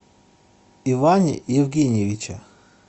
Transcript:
иване евгеньевиче